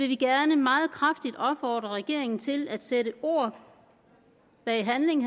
vi gerne meget kraftigt vil opfordre regeringen til at sætte ord bag handling